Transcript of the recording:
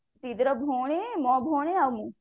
ଦିଦିର ଭଉଣୀ ମୋ ଭଉଣୀ ଆଉ ମୁ